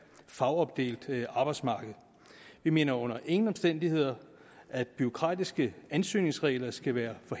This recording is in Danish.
fagopdelt arbejdsmarked vi mener under ingen omstændigheder at bureaukratiske ansøgningsregler skal være